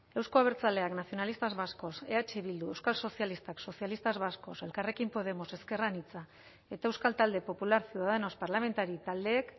euzko abertzaleak nacionalistas vascos eh bildu euskal sozialistak socialistas vascos elkarrekin podemos ezker anitza eta euskal talde popular ciudadanos parlamentari taldeek